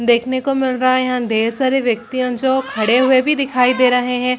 देखने को मिल रहा है यहाँ ढ़ेर वयक्ति जो खड़े हुए भी दिखाई दे रहे है।